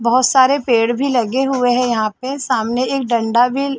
बहोत सारे पेड़ भी लगे हुए है यहाँ पे सामने एक डंडा भी--